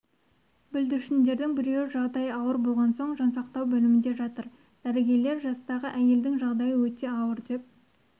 бүлдіршіндердің біреуі жағдайы ауыр болған соң жансақтау бөлімінде жатыр дәрігерлер жастағы әйелдің жағдайы өте ауыр деп